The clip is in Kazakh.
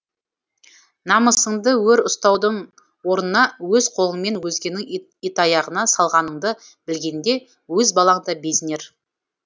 намысыңды өр ұстаудың орнына өз қолыңмен өзгенің итаяғына салғаныңды білгенде өз балаң да безінер